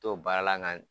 To baara la